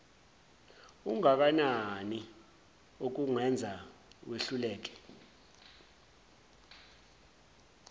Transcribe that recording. ungakanani okukwenza wehluleke